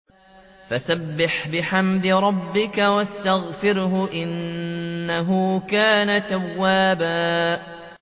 فَسَبِّحْ بِحَمْدِ رَبِّكَ وَاسْتَغْفِرْهُ ۚ إِنَّهُ كَانَ تَوَّابًا